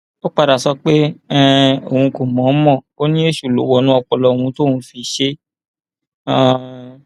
ó padà sọ pé um òun kò mọ ọn mọ ò ní èṣù ló wọnú ọpọlọ òun tóun fi ṣe é um